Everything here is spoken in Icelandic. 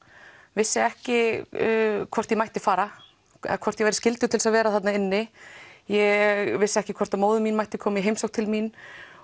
vissi ekki hvort ég mætti fara eða hvort ég væri skyldug til þess að vera þarna inni ég vissi ekki hvort móðir mín mætti koma í heimsókn til mín